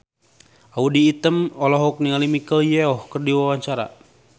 Audy Item olohok ningali Michelle Yeoh keur diwawancara